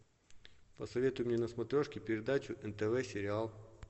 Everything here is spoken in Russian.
посоветуй мне на смотрешке передачу нтв сериал